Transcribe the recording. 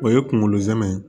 O ye kunkolo zɛmɛ ye